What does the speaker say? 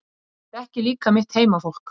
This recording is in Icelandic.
Ég þekki líka mitt heimafólk.